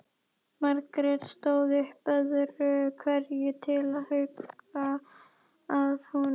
Margrét stóð upp öðru hverju til að huga að honum.